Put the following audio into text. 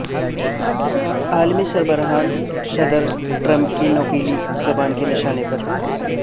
عالمی سربراہان صدر ٹرمپ کی نوکیلی زبان کے نشانے پر